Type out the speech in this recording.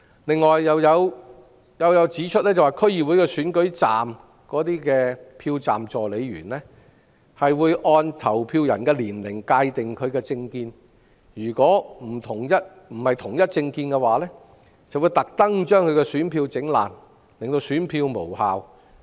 此外，有謠傳又指出，區議會選舉站的票站助理員，將按投票人的年齡界定其政見，如非屬同一政見，他們會故意將有關選票損毀，令選票無效。